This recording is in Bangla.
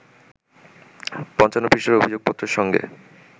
৫৫ পৃষ্ঠার অভিযোগপত্রের সঙ্গে